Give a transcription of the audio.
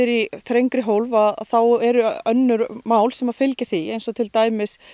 í þrengri hólf þá eru önnur mál sem fylgja því eins og til dæmis